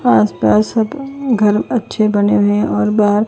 आस पास सब घर अच्छे बने हुए हैं और बाहर--